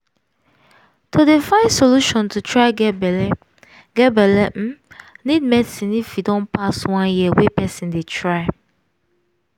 to dey find solution to try get belle get belle um need medicine if e don pass one year wey person dey try